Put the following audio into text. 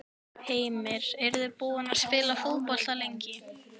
Heimir: Eruð þið búnir að spila fótbolta lengi?